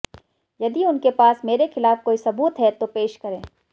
यदि उनके पास मेरे खिलाफ कोई सबूत हैं तो पेश करें